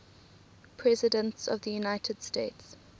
presidents of the united states